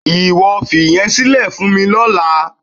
Ìwọ fi ìyẹn sílẹ̀ fún mi lọ́la.